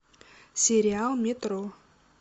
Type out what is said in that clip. сериал метро